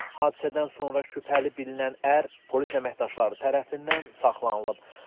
Hadisədən sonra şübhəli bilinən ər polis əməkdaşları tərəfindən saxlanılıb.